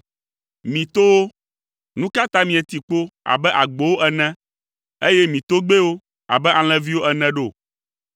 Mi towo, nu ka ta mieti kpo abe agbowo ene, eye mi togbɛwo abe alẽviwo ene ɖo?